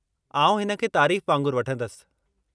आउं हिन खे तारीफ़ वांगुरु वठंदसि।